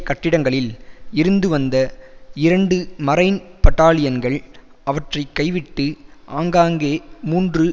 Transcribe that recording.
கட்டிடங்களில் இருந்துவந்த இரண்டு மரைன் பட்டாலியன்கள் அவற்றை கைவிட்டு ஆங்காங்கே மூன்று